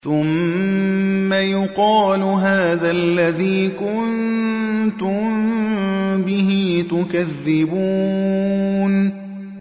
ثُمَّ يُقَالُ هَٰذَا الَّذِي كُنتُم بِهِ تُكَذِّبُونَ